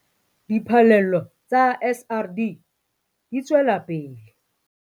Diphallelo tsa SRD di tswela pele